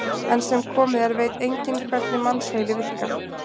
Enn sem komið er veit enginn hvernig mannsheili virkar.